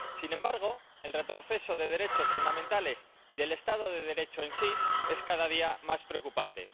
Sin embargo, el retroceso en derechos fundamentales y en el Estado de Derecho es cada día más preocupante.